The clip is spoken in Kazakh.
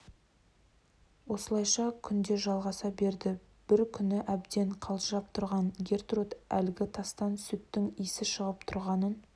осылайша күнде жалғаса берді бір күні әбден қалжырап тұрған гертруд әлгі тастан сүттің иісі шығып тұрғанын